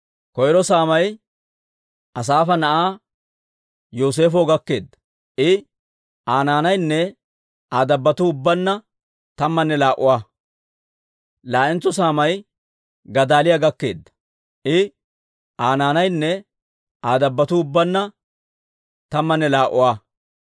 Koyro saamay Asaafa na'aa Yooseefo gakkeedda; I, Aa naanaynne Aa dabbotuu ubbaanna tammanne laa"uwaa. Laa"entso saamay Gadaaliyaa gakkeedda; I, Aa naanaynne Aa dabbotuu ubbaanna tammanne laa"uwaa.